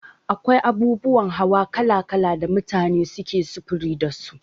Akwai abubuwan hawa kala kala da mutane suke sufuri dasu.